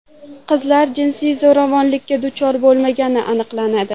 Qizlar jinsiy zo‘ravonlikka duchor bo‘lmagani aniqlanadi.